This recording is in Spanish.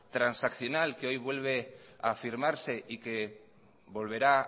transaccional que hoy vuelve a firmarse y que volverá